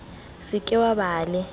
se ke wa ba le